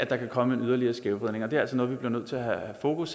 der kan komme en yderligere skævvridning og det er altså noget vi er nødt til at have fokus